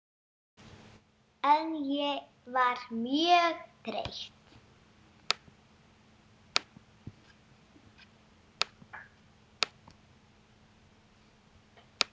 En ég var mjög þreytt.